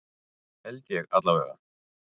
Held ég allavega.